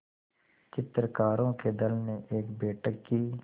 चित्रकारों के दल ने एक बैठक की